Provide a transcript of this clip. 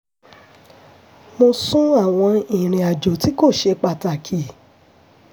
mo sún àwọn ìrìnàjò tí kò ṣe pàtàkì